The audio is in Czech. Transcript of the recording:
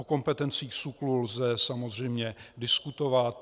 O kompetencích SÚKLu lze samozřejmě diskutovat.